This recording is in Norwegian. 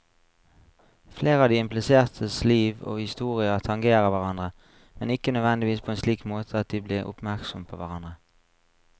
Flere av de implisertes liv og historier tangerer hverandre, men ikke nødvendigvis på en slik måte at de blir oppmerksomme på hverandre.